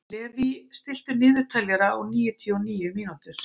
Levý, stilltu niðurteljara á níutíu og níu mínútur.